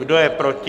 Kdo je proti?